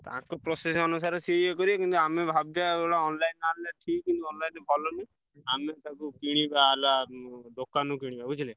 ତାଙ୍କ process ଅନୁସାରେ ସିଏ ଇଏ କରିବେ କିନ୍ତୁ ଆମେ ଭାବୁଥିବା ଗୋଟେ online ଆମେ ଠିକ୍ କିନ୍ତୁ online ଭଲ ନୁହେଁ, ଆମେ ତାକୁ କିଣିବା ହେଲା ଉଁ ଦୋକାନରୁ କିଣିବା ବୁଝିଲ।